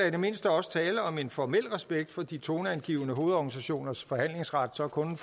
i det mindste også tale om en formel respekt for at de toneangivende hovedorganisationers forhandlingsret så kun